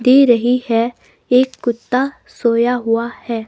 दे रही है एक कुत्ता सोया हुआ है.